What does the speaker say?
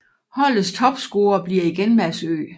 Holdets topscorer bliver igen Mads Ø